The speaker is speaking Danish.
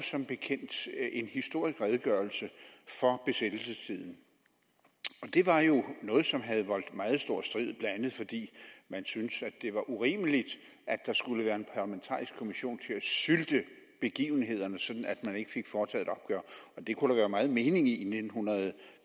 som bekendt en historisk redegørelse for besættelsestiden og det var noget som havde voldt meget stor strid blandt andet fordi man syntes det var urimeligt at der skulle være en parlamentarisk kommission til at sylte begivenhederne sådan at man ikke fik foretaget og det kunne der være meget mening i i nitten